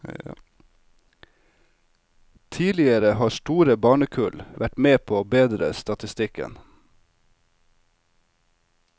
Tidligere har store barnekull vært med på å bedre statistikken.